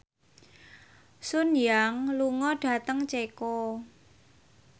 Sun Yang lunga dhateng Ceko